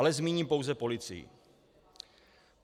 Ale zmíním pouze policii.